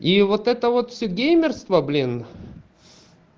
и вот это вот все геймерство блин